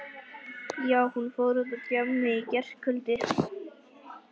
Já, hún fór út á djammið í gærkvöldi.